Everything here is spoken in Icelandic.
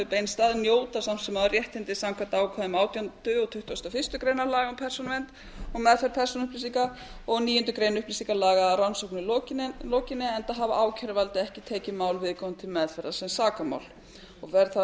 beinst að njóta samt sem áður réttinda samkvæmt ákvæðum átjándu og tuttugasta og fyrstu grein laga um persónuvernd og meðferð persónuupplýsinga og níundu grein upplýsingalaga að rannsókninni lokinni enda hafi ákæruvaldið ekki tekið mál viðkomandi til meðferðar sem sakamál og fer þá um